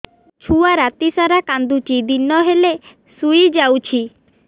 ଛୁଆ ରାତି ସାରା କାନ୍ଦୁଚି ଦିନ ହେଲେ ଶୁଇଯାଉଛି